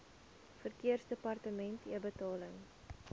verkeersdepartementebetaling